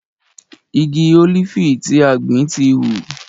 Igi ólífì tí a gbìn ti hù.